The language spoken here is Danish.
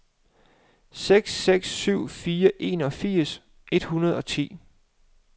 seks seks syv fire enogfirs et hundrede og ti